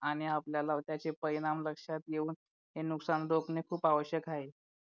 आणि आपल्याला त्याचे परिणाम लक्षात घेऊन हे नुकसान रोखणे खूप आवश्यक आहे